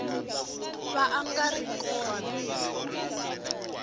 va a nga ri kona